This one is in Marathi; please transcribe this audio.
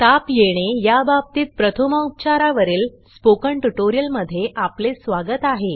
ताप येणे या बाबतीत प्रथमोपचारा वरील स्पोकन ट्युटोरियल मध्ये आपले स्वागत आहे